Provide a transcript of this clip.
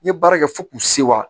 N ye baara kɛ fo k'u sewa